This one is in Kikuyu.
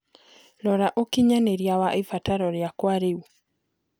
Rora ũkinyanĩria wa ĩbataro rĩakwa rĩũ